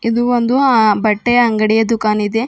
ಇದು ಒಂದು ಆ ಬಟ್ಟೆಯ ಅಂಗಡಿಯ ದುಖಾನಿದೆ.